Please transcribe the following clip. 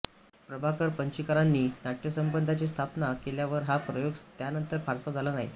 प्रभाकर पणशीकरांनी नाट्यसंपदाची स्थापना केल्यावर हा प्रयोग त्यानंतर फारसा झाला नाही